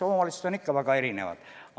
Omavalitsused on ikka väga erinevad.